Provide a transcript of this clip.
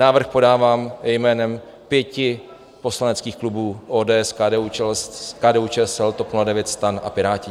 Návrh podávám jménem pěti poslaneckých klubů ODS, KDU-ČSL, TOP 09, STAN a Piráti.